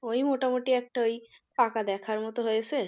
ওই মোটামুটি একটা ওই পাকা দেখার মতো হয়েছে।